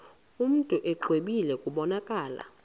mntu exwebile kubonakala